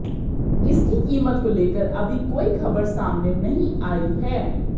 इसकी कीमत को लेकर अभी कोई खबर सामने नहीं आयी है